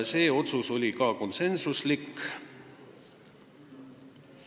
See otsus oli konsensuslik.